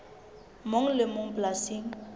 mong le e mong polasing